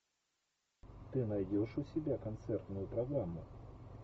ты найдешь у себя концертную программу